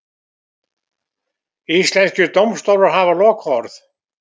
Íslenskir dómstólar hafa lokaorð